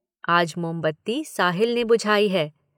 आज मोमबत्ती साहिल ने बुझाई है।